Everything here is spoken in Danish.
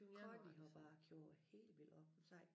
Connie har bakket jo helt vildt op hun sagde